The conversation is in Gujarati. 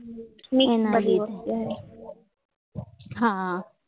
હા